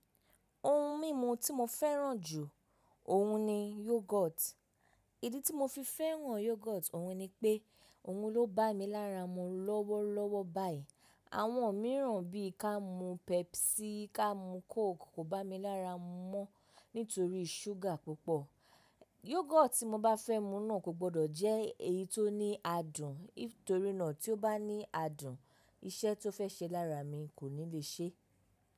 Ohun mímu tí mo fẹ́ràn jù, ọ̀hun ni Yogurt. Ìdí tí mo fi fẹ́ràn Yogurt, ọ̀hun ni pé ọ̀hun ló bá mi lára mu lọ́wọ́lọ́wọ́ báyìí. Àwọn mìíràn bí i ká mú Pepsi, ká mú Coke kò bá mi lára mu mọ́ nítorí ṣúgà púpọ̀. Yogurt tí mo bá fẹ́ mu náà kò gbọdọ̀ jẹ́ èyí tó ní adùn torí náà tí ó bá ní adùn iṣẹ́ tó fẹ́ ṣe lára mi kò ní le ṣẹ́.